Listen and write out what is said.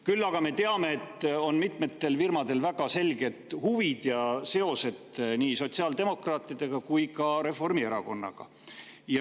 Küll aga me teame, et mitmetel firmadel on väga selged huvid ja seos nii sotsiaaldemokraatidega kui ka Reformierakonnaga.